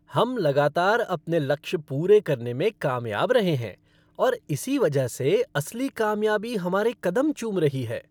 हम लगातार अपने लक्ष्य पूरे करने में कामयाब रहे हैं और इसी वजह से असली कामयाबी हमारे कदम चूम रही है।